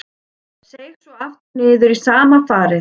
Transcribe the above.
Seig svo aftur niður í sama farið.